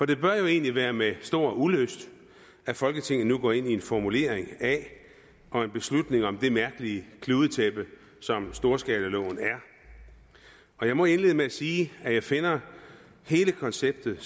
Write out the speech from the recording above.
det bør jo egentlig være med stor ulyst at folketinget nu går ind i en formulering af og en beslutning om det mærkelige kludetæppe som storskalaloven er og jeg må indlede med at sige at jeg finder hele konceptet